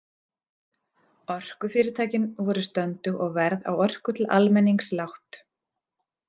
Orkufyrirtækin voru stöndug og verð á orku til almennings lágt.